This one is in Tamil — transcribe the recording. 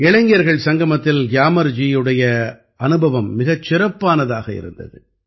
இளைஞர்கள் சங்கமத்தில் கியாமர் ஜியுடைய அனுபவம் மிகச் சிறப்பானதாக இருந்தது